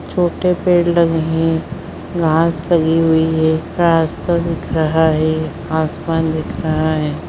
छोटे पेड़ लगे है घास लगी हुई है रास्ता दिख रहा है आसमान दिख रहा है।